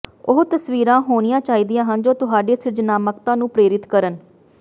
ਉਹ ਤਸਵੀਰਾਂ ਹੋਣੀਆਂ ਚਾਹੀਦੀਆਂ ਹਨ ਜੋ ਤੁਹਾਡੀ ਸਿਰਜਣਾਤਮਕਤਾ ਨੂੰ ਪ੍ਰੇਰਿਤ ਕਰਨ